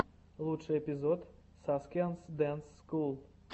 лучший эпизод саскианс дэнс скул